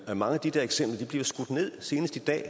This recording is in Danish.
at mange af de der eksempler bliver skudt ned senest i dag